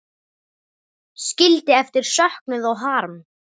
Skildi eftir söknuð og harm.